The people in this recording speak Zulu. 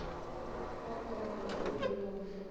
ophongolo okuyiwo umfula